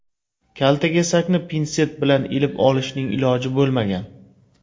Kaltakesakni pinset bilan ilib olishning iloji bo‘lmagan.